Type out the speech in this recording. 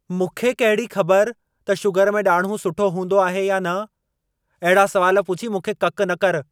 मूंखे कहिड़ी खबर त शुगर में ॾाड़िहूं सुठो हूंदो आहे या न? अहिड़ा सुवाल पुछी मूंखे ककि न करि।